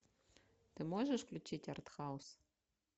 ты можешь включить артхаус